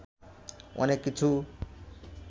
অনেক কিছু